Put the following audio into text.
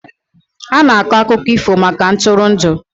A na-akọ akụkọ ifo maka ntụrụndụ.